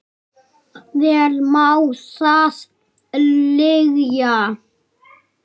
Vel má það liggja.